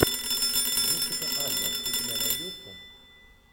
джессика альба у тебя найдется